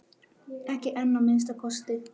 Ekki enn að minnsta kosti.